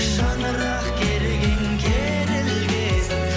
шаңырақ керегең керілгесін